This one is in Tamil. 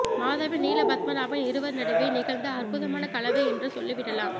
மாதவன் நீலபத்மநாபன் இருவர் நடுவே நிகழ்ந்த அற்புதமான கலவை என்று சொல்லிவிடலாம்